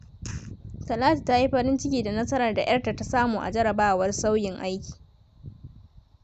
Talatu ta yi farin ciki da nasarar da 'yarta ta samu a jarrabawar sauyin aji.